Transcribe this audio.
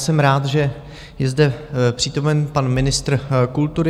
Jsem rád, že je zde přítomen pan ministr kultury.